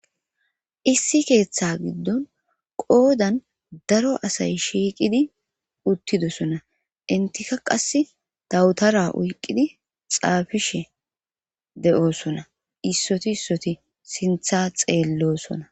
Issi keeththa giddon qoodan daro asay shiiqidi uttidosona intika qass dawutara oyqqidi xaafishe de7oosona issoti issoti sintha xeellosona.